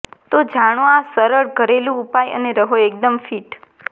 તો જાણો આ સરળ ઘરેલુ ઉપાય અને રહો એકદમ ફિટ